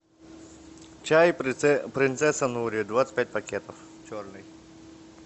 чай принцесса нури двадцать пять пакетов черный